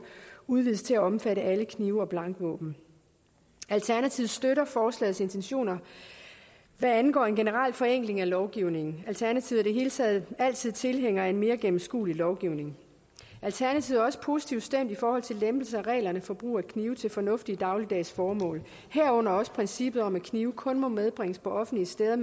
udvides til at omfatte alle knive og blankvåben alternativet støtter forslagets intentioner hvad angår en generel forenkling af lovgivningen alternativet i hele taget altid tilhænger af en mere gennemskuelig lovgivning alternativet er også positivt stemt i forhold til lempelse af reglerne for brug af knive til fornuftige dagligdags formål herunder også princippet om at knive kun må medbringes på offentlige steder